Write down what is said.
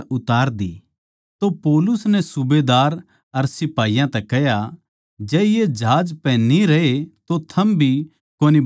तो पौलुस नै सूबेदार अर सिपाहियाँ तै कह्या जै ये जहाज पै न्ही रहें तो थम भी कोनी बच सकदे